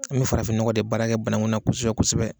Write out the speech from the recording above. An bɛ farafinɔgɔ de baarakɛ banakunna kosɛbɛ kosɛbɛ.